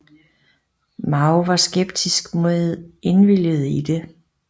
Mao var skeptisk med indvilligede i det